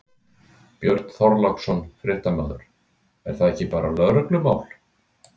Björn Þorláksson, fréttamaður: Er það ekki bara lögreglumál?